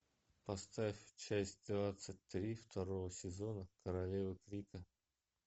поставь часть двадцать три второго сезона королева крика